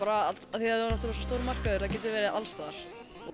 af því að það er svo stór markaður að það getur verið alls staðar